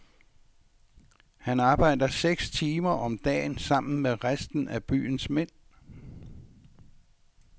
Han arbejder seks timer om dagen sammen med resten af byens mænd.